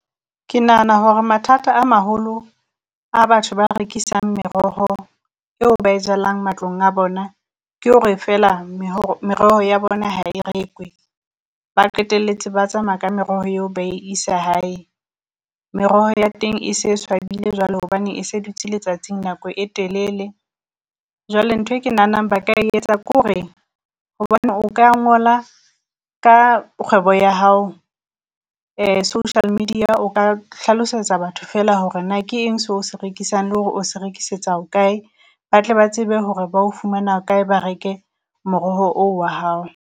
Ke nahana hore mathata a maholo a batho ba rekisang meroho eo ba e jalang matlong a bona, ke hore feela meroho ya bona ha e rekwe, ba qetelletse ba tsamaya ka meroho eo ba e isa hae. Meroho ya teng e se swabile jwale hobane e se dutse letsatsing nako e telele, jwale nthwe ke nahanang ba ka e etsa ke hore hobane o ka ngola ka kgwebo ya hao social media. O ka hlalosetsa batho feela hore na ke eng so o se rekisang le hore o se rekisetsa hokae, ba tle ba tsebe hore ba o fumana kae ba reke moroho oo wa hao.